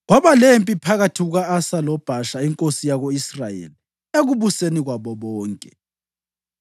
Kwaba lempi phakathi kuka-Asa loBhasha inkosi yako-Israyeli ekubuseni kwabo bonke.